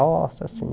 Roça, assim.